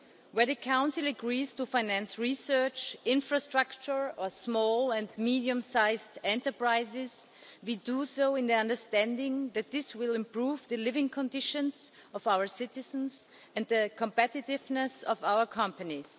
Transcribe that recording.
Where the Council agrees to finance research, infrastructure or small and medium sized enterprises, we do so on the understanding that this will improve the living conditions of our citizens and the competitiveness of our companies.